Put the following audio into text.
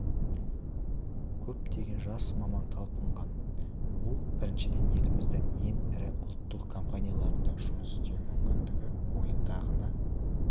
көптеген жас маман талпынған ол біріншіден еліміздің ең ірі ұлттық компанияларында жұмыс істеу мүмкіндігі ойыңдағыны